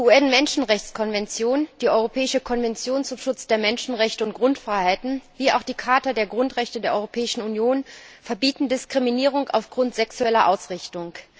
Die UN Menschenrechtskonvention, die Europäische Konvention zum Schutz der Menschenrechte und Grundfreiheiten wie auch die Charta der Grundrechte der Europäischen Union verbieten Diskriminierung aufgrund sexueller Ausrichtung.